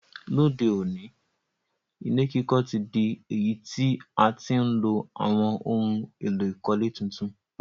Lóde òní, ilé kíkọ́ ti dí èyí ti a ti n lo àwon oun èló ìkọ́lé tuntun